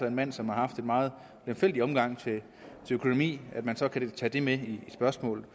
en mand som har haft en meget lemfældig omgang med økonomien og at man så kan tage det med i spørgsmålet